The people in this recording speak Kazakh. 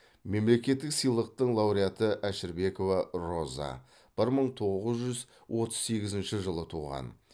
мемлекеттік сыйлықтың лауреаты әшірбекова роза бір мың тоғыз жүз отыз сегізінші жылы туған